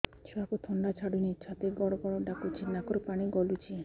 ଛୁଆକୁ ଥଣ୍ଡା ଛାଡୁନି ଛାତି ଗଡ୍ ଗଡ୍ ଡାକୁଚି ନାକରୁ ପାଣି ଗଳୁଚି